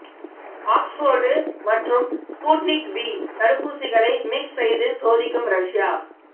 Oxford மற்றும் Sputnik V தடுப்பூசிகளை mix செய்து சோதிக்கும் ரஷ்யா